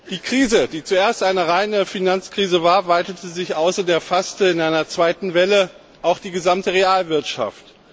Die Krise, die zuerst eine reine Finanzkrise war, weitete sich aus und erfasste in einer zweiten Welle auch die gesamte Realwirtschaft.